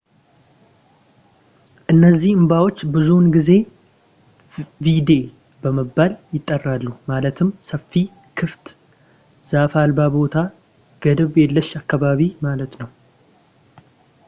እነዚህ አምባዎች ብዙውን ጊዜ ቪዴ በመባል ይጠራሉ ማለትም ሰፊ ክፍት ዛፍ አልባ ቦታ ገደብ የለሽ አካባቢ ማለት ነው